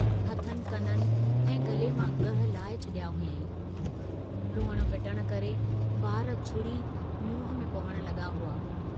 हथनि कननि ऐं गले मां ॻहि लाए छड़िया हुआईं, रुअण पिटण करे वार छुड़ी मुंह में पवण लगा हुआ।